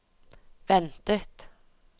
ventet